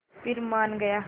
फिर मान गया